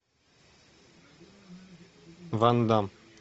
ван дамм